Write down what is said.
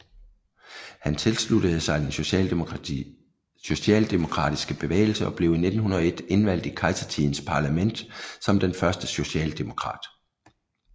Han tilsluttede sig den socialdemokratiske bevægelse og blev i 1901 indvalgt i kejsertidens parlament som den første socialdemokrat